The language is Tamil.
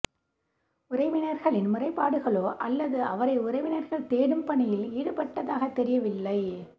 உறவினர்களின் முறைபாடுகளோ அல்லது அவரை உறவினர்கள் தேடும் பணியில் ஈடுப்பட்டதாக தெரியவில்லை